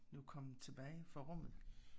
Nu kommet tilbage fra rummet